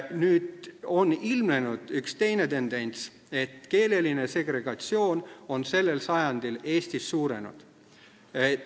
Nüüd, on ilmnenud üks teine tendents: keeleline segregatsioon on sellel sajandil Eestis suurenenud.